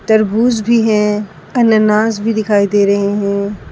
तरबूज भी हैं अनानास भी दिखाई दे रहे हैं।